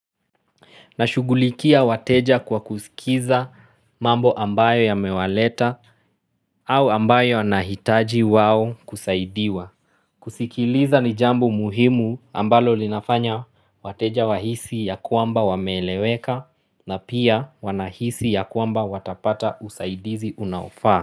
Na shugulikia wateja kwa kuskiza mambo ambayo ya mewaleta au ambayo wanahitaji wao kusaidiwa kusikiliza ni jambo muhimu ambalo linafanya wateja wahisi ya kwamba wameeleweka na pia wanahisi ya kwamba watapata usaidizi unaofaa.